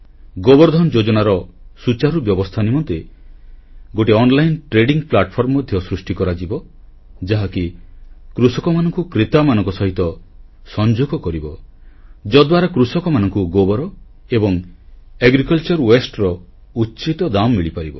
ଗୋବର ଧନ ଯୋଜନାର ସୁଚାରୁ ବ୍ୟବସ୍ଥା ନିମନ୍ତେ ଗୋଟିଏ ଅନଲାଇନ ବେପାର ମଞ୍ଚ ଅନଲାଇନ୍ ଟ୍ରେଡିଂ ପ୍ଲାଟଫର୍ମ ମଧ୍ୟ ସୃଷ୍ଟି କରାଯିବ ଯାହାକି କୃଷକମାନଙ୍କୁ କ୍ରେତାମାନଙ୍କ ସହିତ ସଂଯୋଗ କରିବ ଯଦ୍ଦ୍ୱାରା କୃଷକମାନଙ୍କୁ ଗୋବର ଏବଂ କୃଷି ବର୍ଜ୍ୟର ଉଚିତ ଦାମ୍ ମିଳିପାରିବ